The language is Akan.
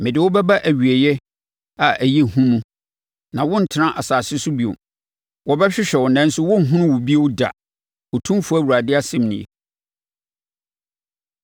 Mede wo bɛba awieeɛ a ɛyɛ hu mu, na worentena asase so bio. Wɔbɛhwehwɛ wo nanso wɔrenhunu wo bio da, Otumfoɔ Awurade asɛm nie.”